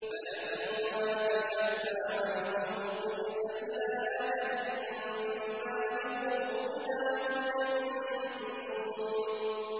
فَلَمَّا كَشَفْنَا عَنْهُمُ الرِّجْزَ إِلَىٰ أَجَلٍ هُم بَالِغُوهُ إِذَا هُمْ يَنكُثُونَ